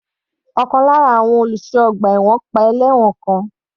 Ọ̀kan lára àwọn olùṣọ́ ọgbà ẹ̀wọ̀n pa ẹlẹ́wọ̀n kan.